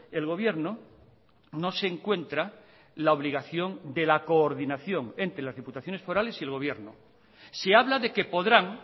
el gobierno no se encuentra la obligación de la coordinación entre las diputaciones forales y el gobierno se habla de qué podrán